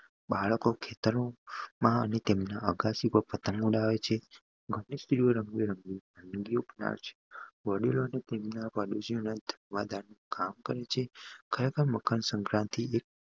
બાળકો ખેતર માં અને તેના અગાસી માં પતંગ ઉડાવે છે વડીલો ની ખરે ખર મકર સંક્રાંતિ